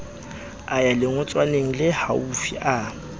a ya lengotswaneng lehaufi a